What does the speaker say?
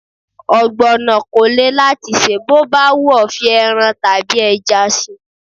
Ọ̀gbọ̀nọ̀ kò le láti sè, bó bá wù ọ́ fi ẹran tàbí ẹja síi.